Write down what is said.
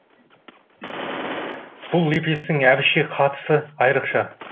бұл лепестің әбішке қатысы айрықша